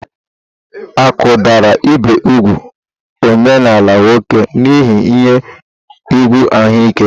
Akụdara ibi úgwù omenaala nwoke n'ihi ihe egwu ahụike.